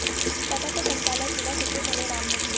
बैठक का संचालन जिला सचिव भले राम ने किया